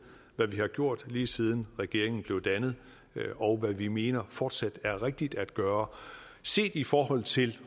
hvad vi har gjort lige siden regeringen blev dannet og hvad vi mener fortsat er rigtigt at gøre set i forhold til